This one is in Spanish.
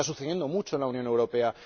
Está sucediendo mucho en la Unión Europea